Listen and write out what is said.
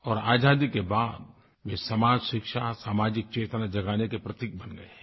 और आज़ादी के बाद वे समाजशिक्षा सामाजिकचेतना जगाने के प्रतीक बन गये हैं